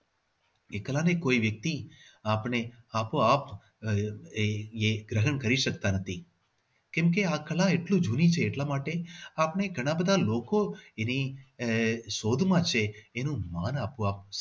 એ કળા ને કોઈ વ્યક્તિ આપણે આપોઆપ આહ એક ગ્રહણ કરી શકતા નથી. કેમ કે એ કળા કેટલી જૂની છે એટલા માટે આપણે ઘણા બધા લોકો એની આહ શોધ માં છે એનું માન આપવા